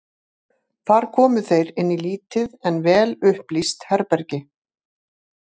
Þar komu þeir inn í lítið en vel upplýst herbergi.